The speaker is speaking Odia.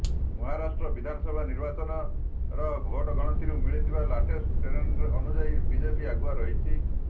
ମହାରାଷ୍ଟ୍ର ବିଧାନସଭା ନିର୍ବାଚନର ଭୋଟ୍ ଗଣତିରୁ ମିଳିଥିବା ଲାଟେଷ୍ଟ୍ ଟ୍ରେଣ୍ଡ୍ ଅନୁଯାୟୀ ବିଜେପି ଆଗୁଆ ରହିଛି